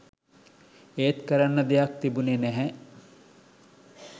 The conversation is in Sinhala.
ඒත් කරන්න දෙයක් තිබුණෙ නැහැ